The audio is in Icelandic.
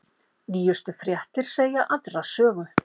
Nýjustu fréttir segja aðra sögu